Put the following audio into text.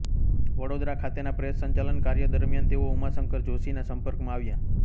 વડોદરા ખાતેના પ્રેસ સંચાલન કાર્ય દરમિયાન તેઓ ઉમાશંકર જોષીના સંપર્કમાં આવ્યા